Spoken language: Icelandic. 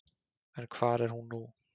En hvar er hún nú?